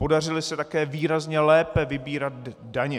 Podařily se také výrazně lépe vybírat daně.